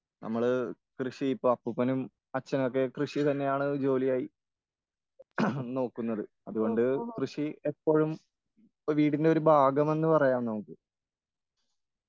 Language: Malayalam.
നമ്മള് കൃഷി ഇപ്പൊ അപ്പൂപ്പനും അച്ഛനൊക്കെ കൃഷി തന്നെയാണ് ജോലിയായി നോക്കുന്നത്.അതുകൊണ്ട് കൃഷി എപ്പോഴും ഇപ്പൊ വീടിന്റെ ഒരു ഭാഗമെന്ന് പറയാം നമ്മുക്ക്.